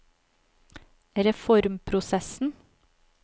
reformprosessen